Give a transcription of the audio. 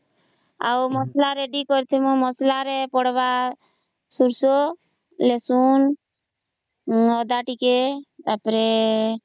ଆଉ ମସଲା Ready କରିଥିବୁ ମସଲାରେ ପଡିବ ସୋରିଷ ରସୁଣ ଅଦା ଟିକେ ତା ପରେ ....